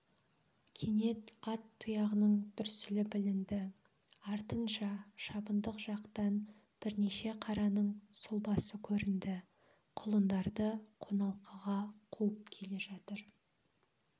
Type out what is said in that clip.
кенет ат тұяғының дүрсілі білінді артынша шабындық жақтан бірнеше қараның сұлбасы көрінді құлындарды қоналқыға қуып келе жатыр